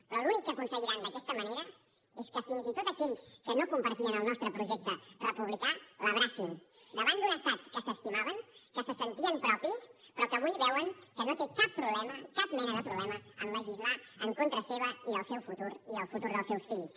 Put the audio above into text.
però l’únic que aconseguiran d’aquesta manera és que fins i tot aquells que no compartien el nostre projecte republicà l’abracin davant d’un estat que s’estimaven que se sentien propi però que avui veuen que no té cap problema cap mena de problema en legislar en contra seu i del seu futur i el futur dels seus fills